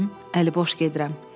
Baxın, əli boş gedirəm.